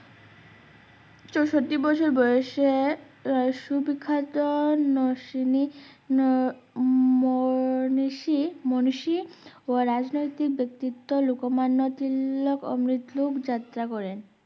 চৌষট্টি বছর বয়সে পর মুসিনী ম~মনীষী মনীষী ও রাজনৈতিক ব্যাক্তিত্ব লোকোমান্য তিলক অমৃত লোক যাত্রা করেন